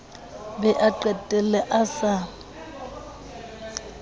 be a qetelle a sa